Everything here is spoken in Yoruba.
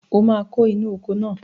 O máa kó inú oko náà